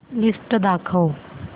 list दाखव